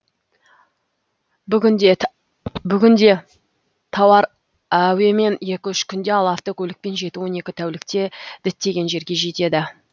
бүгінде тауар әуемен екі үш күнде ал автокөлікпен жеті он екі тәулікте діттеген жерге жетеді